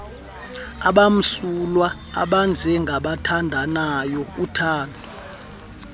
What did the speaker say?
abamsulwa abanjengaabathandanayo uthando